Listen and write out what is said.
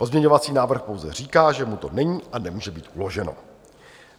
Pozměňovací návrh pouze říká, že mu to není a nemůže být uloženo.